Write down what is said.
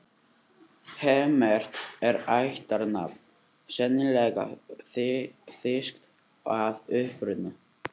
Hemmert er ættarnafn, sennilega þýskt að uppruna.